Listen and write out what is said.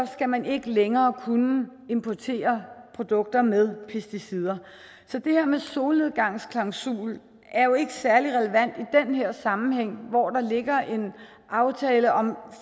skal man ikke længere kunne importere produkter med pesticider så det her med en solnedgangsklausul er jo ikke særlig relevant i den her sammenhæng hvor der ligger en aftale om